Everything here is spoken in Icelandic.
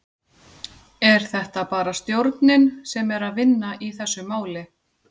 Er þetta bara stjórnin sem er að vinna í þessu máli?